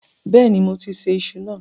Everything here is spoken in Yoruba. Bẹ́ẹ̀ni, moti ṣe iṣu náà.